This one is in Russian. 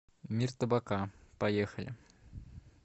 мир табака поехали